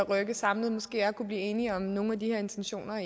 at rykke samlet måske er at kunne blive enige om nogle af de her intentioner og